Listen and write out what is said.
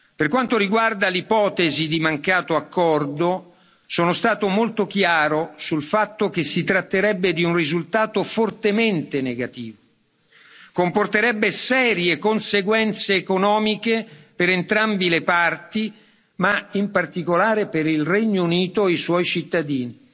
Per quanto riguarda l'ipotesi di mancato accordo, sono stato molto chiaro sul fatto che si tratterebbe di un risultato fortemente negativo, che comporterebbe serie conseguenze economiche per entrambe le parti, ma in particolare per il Regno Unito e i suoi cittadini.